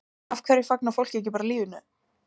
Af hverju fagnar fólk ekki bara lífinu?